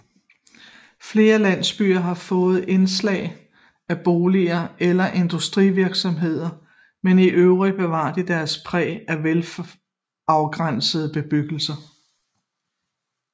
Flere landsbyer har fået indslag af boliger eller industrivirksomhed men i øvrigt bevaret deres præg af velafgrænsede bebyggelser